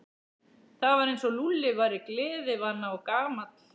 Það var eins og Lúlli væri gleðivana og gamall.